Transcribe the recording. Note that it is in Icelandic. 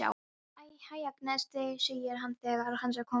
Hæ, Agnes, segir hann þegar hann er kominn að henni.